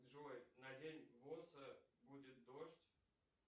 джой на день босса будет дождь